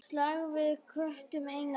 Slag við tökum einatt öll.